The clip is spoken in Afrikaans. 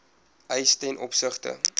eis ten opsigte